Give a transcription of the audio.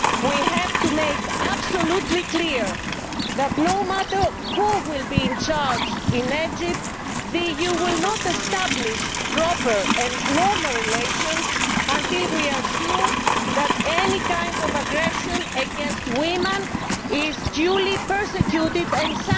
We have to make it absolutely clear that, no matter who is in charge in Egypt, the EU will not establish proper and normal relations until we are sure that any kind of aggression against women is duly prosecuted and